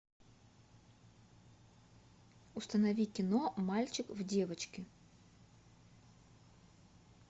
установи кино мальчик в девочке